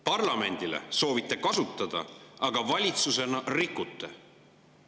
Parlamendile soovitate kasutada, aga valitsusena rikute!